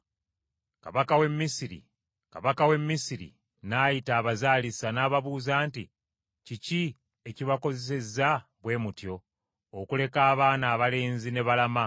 Kabaka w’e Misiri n’ayita abazaalisa, n’ababuuza nti, “Kiki ekibakozesezza bwe mutyo, okuleka abaana abalenzi ne balama?”